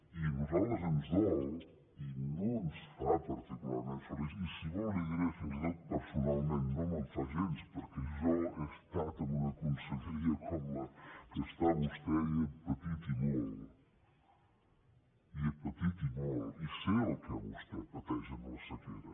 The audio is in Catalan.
i a nosaltres ens dol i no ens fa particularment feliços i si vol li ho diré fins i tot personalment no me’n fa gens perquè jo he estat en una conselleria com la que està vostè i hi he patit i molt i hi he patit i molt i sé el que vostè pateix amb la sequera